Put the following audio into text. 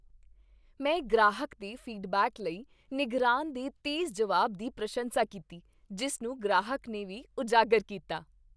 ਮੈਂ ਗ੍ਰਾਹਕ ਦੇ ਫੀਡਬੈਕ ਲਈ ਨਿਗਰਾਨ ਦੇ ਤੇਜ਼ ਜਵਾਬ ਦੀ ਪ੍ਰਸ਼ੰਸਾ ਕੀਤੀ ਜਿਸ ਨੂੰ ਗ੍ਰਾਹਕ ਨੇ ਵੀ ਉਜਾਗਰ ਕੀਤਾ।